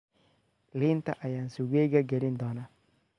liinta ayaan suugeyga gelin doonaa.